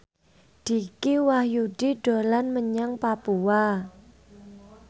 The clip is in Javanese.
Dicky Wahyudi dolan menyang Papua